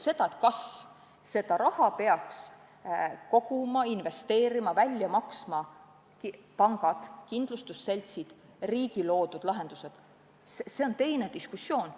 Kas seda raha peaks koguma, investeerima, välja maksma pangad või kindlustusseltsid või riigi loodud süsteemid, see on teine diskussioon.